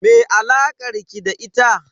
Me alakar ki da ita?